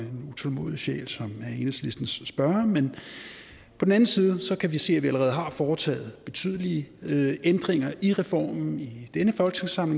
utålmodig sjæl som enhedslistens spørger men på den anden side kan vi se at vi allerede har foretaget betydelige ændringer i reformen i